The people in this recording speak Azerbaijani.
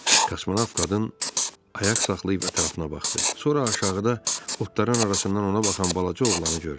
Kosmonavt qadın ayaq saxlayıb ətrafına baxdı, sonra aşağıda otların arasından ona baxan balaca oğlanı gördü.